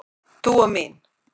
Dúa mín.